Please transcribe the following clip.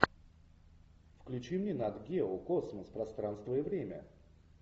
включи мне нат гео космос пространство и время